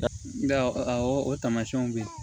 Nka awɔ o taamasiyɛnw bɛ yen